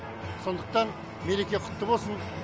сондықтан мереке құтты болсын